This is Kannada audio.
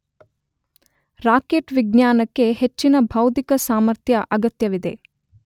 ರಾಕೆಟ್ ವಿಜ್ಞಾನಕ್ಕೆ ಹೆಚ್ಚಿನ ಬೌದ್ಧಿಕ ಸಾಮರ್ಥ್ಯ ಅಗತ್ಯವಿದೆ